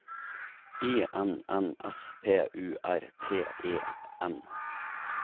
I N N S P U R T E N